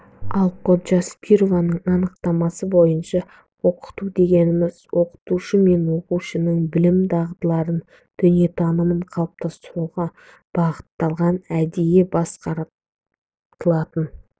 ал коджаспированың анықтамасы бойынша оқыту дегеніміз оқытушы мен оқушының білім дағыларын дүниетанымын қалыптастыруға бағытталған әдейі басқарылатын